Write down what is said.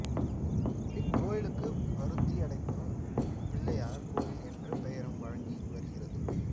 இக் கோயிலுக்குப் பருத்தியடைப்புப் பிள்ளையார் கோயில் என்ற பெயரும் வழங்கி வருகிறது